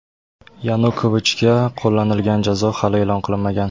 Yanukovichga qo‘llanilgan jazo hali e’lon qilinmagan.